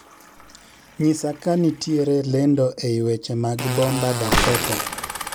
Nyisa kanitiere lendo ei weche mag bomba dakota